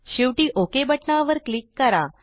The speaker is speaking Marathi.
शेवटी ओक बटणावर क्लिक करा